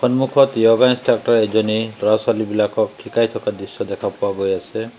সন্মুখত যোগা ইনষ্ট্ৰাকটৰ এজনে ল'ৰা ছোৱালীবিলাকক শিকাই থকা দৃশ্য দেখা পোৱা গৈ আছে।